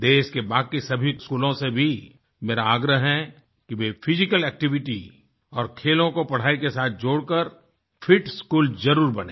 देश के बाकी सभी स्कूलों से भी मेरा आग्रह है कि वे फिजिकल एक्टिविटी और खेलों को पढ़ाई के साथ जोड़कर फिट स्कूल ज़रूर बनें